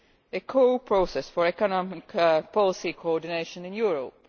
a core process for economic policy coordination in Europe.